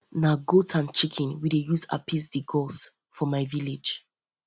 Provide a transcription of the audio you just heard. na goat and chicken we dey use appease di gods for my village